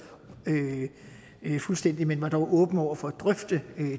fuldstændig men dog var åbne over for at drøfte